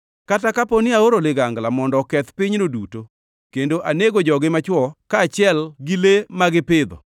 “Kata kapo ni aoro ligangla mondo oketh pinyno duto kendo anego jogi machwo kaachiel gi le ma gipidho,